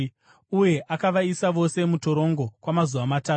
Uye akavaisa vose mutorongo kwamazuva matatu.